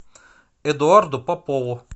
эдуарду попову